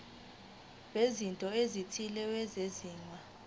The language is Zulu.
bezinto ezithile ezenziwa